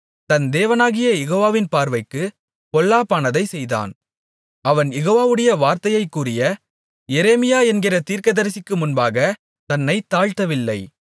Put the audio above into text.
தன் தேவனாகிய யெகோவாவின் பார்வைக்குப் பொல்லாப்பானதைச் செய்தான் அவன் யெகோவாவுடைய வார்த்தையைக் கூறிய எரேமியா என்கிற தீர்க்கதரிசிக்கு முன்பாகத் தன்னைத் தாழ்த்தவில்லை